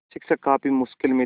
शिक्षक काफ़ी मुश्किल में थे